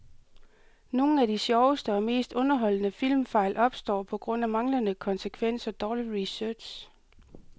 Nogle af de sjoveste og mest underholdende filmfejl opstår på grund af manglende konsekvens og dårlig research.